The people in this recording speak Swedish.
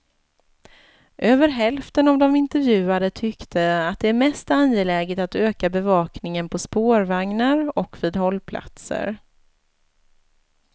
Över hälften av de intervjuade tyckte att det är mest angeläget att öka bevakningen på spårvagnar och vid hållplatser.